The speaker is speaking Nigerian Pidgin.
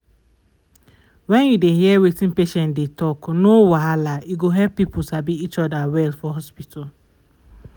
when you dey hear wetin patients dey talk no wahala e go help people sabi each other well for hospital.